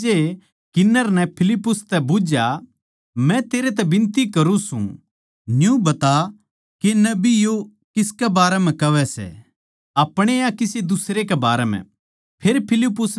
इसपै खोजे किन्नर नै फिलिप्पुस तै बुझ्झया मै तेरै तै बिनती करूँ सूं न्यू बता के नबी यो किसकै बारै म्ह कहवै सै अपणे या किसे दुसरे कै बारै म्ह